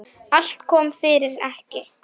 Allt kom fyrir ekki.